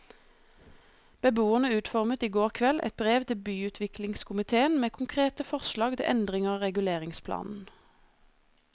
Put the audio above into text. Beboerne utformet i går kveld et brev til byutviklingskomitéen med konkrete forslag til endringer av reguleringsplanen.